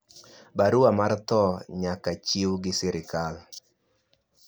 barua mar tho nyaka chiw gi serikal